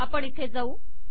आपण इथे जाऊ